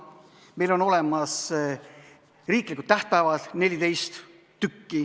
Meil on olemas riiklikud tähtpäevad, 14 tükki.